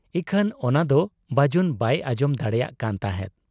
ᱤᱠᱷᱟᱹᱱ ᱚᱱᱟᱫᱚ ᱵᱟᱹᱡᱩᱱ ᱵᱟᱭ ᱟᱸᱡᱚᱢ ᱫᱟᱲᱮᱭᱟᱜ ᱠᱟᱱ ᱛᱟᱦᱮᱸᱫ ᱾